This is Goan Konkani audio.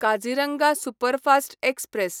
Kaziranga superfast express